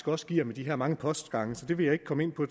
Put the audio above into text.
også giver med de her mange postgange så det vil jeg ikke komme ind på